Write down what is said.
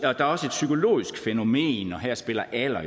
er også et psykologisk fænomen og her spiller alder